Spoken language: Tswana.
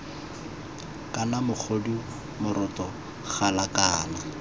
kana mogodu moroto gala kana